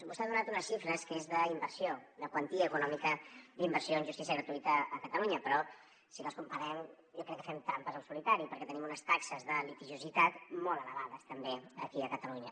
vostè ha donat unes xifres que són d’inversió de quantia econòmica d’inversió en justícia gratuïta a catalunya però si les comparem jo crec que fem trampes al solitari perquè tenim unes taxes de litigiositat molt elevades també aquí a catalunya